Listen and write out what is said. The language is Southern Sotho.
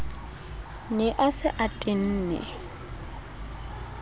ne a se a tenne